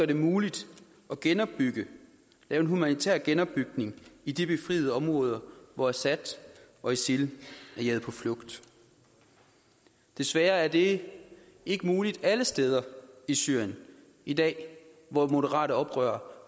det muligt at genopbygge lave en humanitær genopbygning i de befriede områder hvor assad og isil er jaget på flugt desværre er det ikke muligt alle steder i syrien i dag hvor moderate oprørere